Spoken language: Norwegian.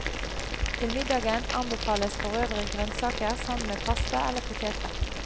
Til middagen anbefales forøvrig grønnsaker sammen med pasta eller potetretten.